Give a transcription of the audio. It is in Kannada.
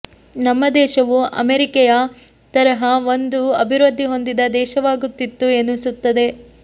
ನಮ್ಮ ದೇಶವೂ ಅಮೇರಿಕೆಯ ತರಹ ಒಂದು ಅಭಿವೃದ್ಧಿ ಹೊಂದಿದ ದೇಶವಾಗುತ್ತಿತ್ತು ಎನಿಸುತ್ತದೆ